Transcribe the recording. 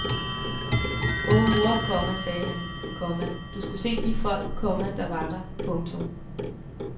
Åh mor, komma sagde han, komma du skulle se de folk, komma der var der. punktum